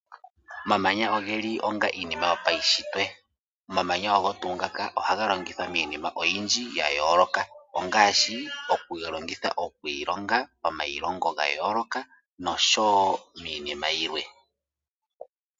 Omamanya ogeli onga iinima yopaushitwe. Omamanya ogo tuu ngaka ohaga longithwa miinima oyindji ya yooloka ongashi oku longitha okwiilonga, omailongo ga yooloka nosho wo miinima yilwe.